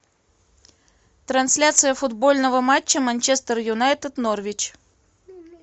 трансляция футбольного матча манчестер юнайтед норвич